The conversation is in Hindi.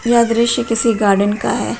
यह दृश्य किसी गार्डन का है।